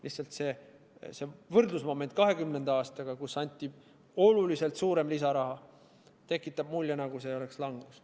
Lihtsalt see võrdlusmoment 2020. aastaga, kui anti oluliselt suurem lisaraha, tekitab mulje, nagu see oleks langus.